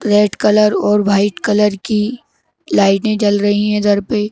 red colour और white colour की लाइटें चल रही हैं इधर पे --